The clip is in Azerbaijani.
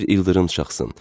Bir ildırım çaxsın.